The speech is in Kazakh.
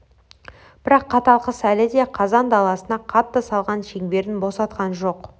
бірақ қатал қыс әлі де қазақ даласына қатты салған шеңберін босатқан жоқ